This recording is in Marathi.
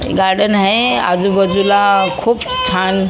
गार्डन आहे आजूबाजूला खूप छान --